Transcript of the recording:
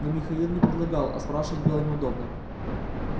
но михаил не предлагал а спрашивать было неудобно